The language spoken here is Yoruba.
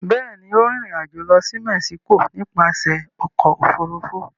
Bẹ́ẹ̀ ni, ó rìnrìn-àjò lọ sí Mexico nípasẹ̀ ọkọ̀-òfurufú.